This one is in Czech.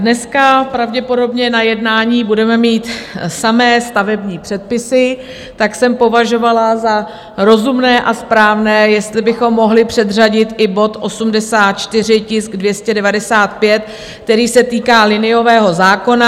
Dneska pravděpodobně na jednání budeme mít samé stavební předpisy, tak jsem považovala za rozumné a správné, jestli bychom mohli předřadit i bod 84, tisk 295, který se týká liniového zákona.